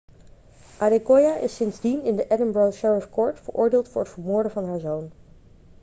adekoya is sindsdien in de edinburgh sheriff court veroordeeld voor het vermoorden van haar zoon